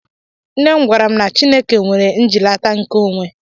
Nne m gwara m na Chika nwere njilata nke onwe.